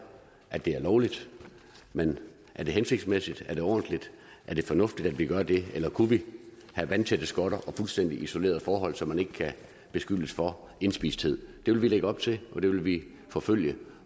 at det er lovligt men er det hensigtsmæssigt er det ordentligt er det fornuftigt at vi gør det eller kunne vi have vandtætte skotter og fuldstændig isolerede forhold så man ikke kan beskyldes for indspisthed det vil vi lægge op til og det vil vi forfølge